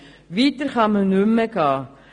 Weiter kann man nicht mehr gehen.